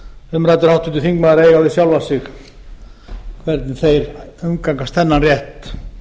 umræddur háttvirtur þingmaður að eiga við sjálfa sig hvernig þeir umgangast þennan rétt